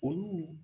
Olu